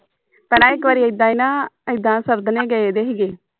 ਭੈਣਾਂ ਇਕ ਵਾਰੀ ਇੱਦਾਂ ਈ ਨਾ ਇੱਦਾਂ ਗਏ ਦੀ ਹੀਗੇ